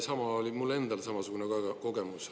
Sama oli mul endal samasugune kogemus.